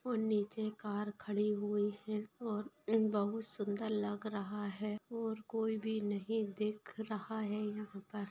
और नीचे कार खड़ी हुई है और ऐ बहुत सुंदर लग रहा है और कोई भी नहीं दिख रहा है यहाँ पर।